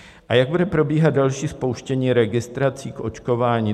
A jak bude probíhat další spouštění registrací k očkování?